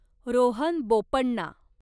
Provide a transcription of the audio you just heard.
Rohan Bopanna